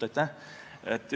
Aitäh!